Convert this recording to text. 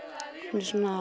er